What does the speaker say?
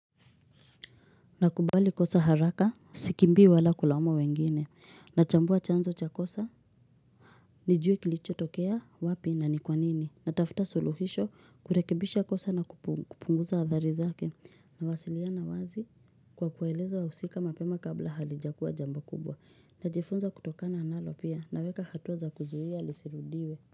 Nakubali kosa haraka, sikimbii wala kulaumu wengine, nachambua chanzo cha kosa, nijue kilichotokea wapi na ni kwa nini, natafuta suluhisho kurekebisha kosa na kupunguza athari zake, nawasiliana wazi kwa kueleza wahusika mapema kabla halijakua jambo kubwa, najifunza kutokana nalo pia, naweka hatua za kuzuia lisirudiwe.